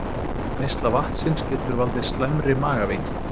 Neysla vatnsins getur valdið slæmri magaveiki